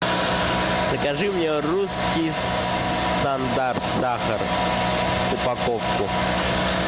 закажи мне русский стандарт сахар упаковку